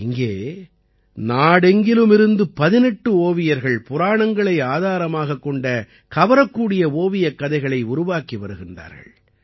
இங்கே நாடெங்கிலுமிருந்து 18 ஓவியர்கள் புராணங்களை ஆதாரமாகக் கொண்ட கவரக்கூடிய ஓவியக்கதைகளை உருவாக்கி வருகிறார்கள்